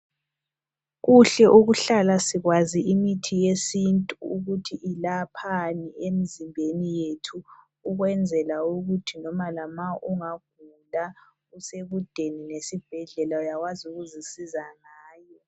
Kuhle ukuhlala sikwazi imithi yesintu ukuthi ilaphani emzimbeni yethu ukwenzela ukuthi loba lama ungagula usekudeni lesibhedlela uyakwazi ukuzisiza ngayo.